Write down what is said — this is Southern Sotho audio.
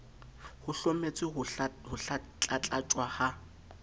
ho hlometswe ho tlatlaptjwa ha